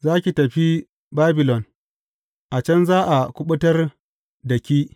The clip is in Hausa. Za ki tafi Babilon; a can za a kuɓutar da ki.